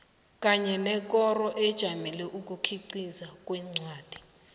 kanye nekoro ejamele ukukhiqiza kwencwadi